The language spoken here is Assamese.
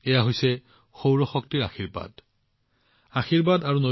এয়া হৈছে সূৰ্য ঈশ্বৰৰ সৌৰ শক্তিৰ আশীৰ্বাদ